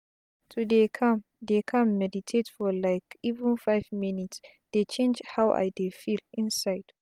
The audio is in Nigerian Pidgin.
to dey calm dey calm meditate for like even five minutes dey change how i dey feel inside.